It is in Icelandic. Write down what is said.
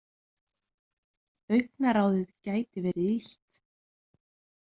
Augnaráðið gæti verið illt.